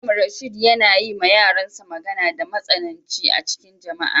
Mallam Rashid yana yi ma yaran sa magana da matsananci a'cikin jama'a.